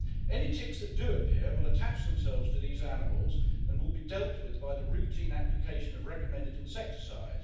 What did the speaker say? Any ticks that do appear will attach themselves to these animals and will be dealt with by the routine application of recommended insecticides.